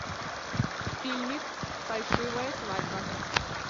фильмик фальшивая свадьба